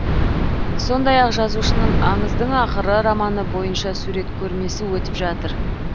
сондай ақ жазушының аңыздың ақыры романы бойынша сурет көрмесі өтіп жатыр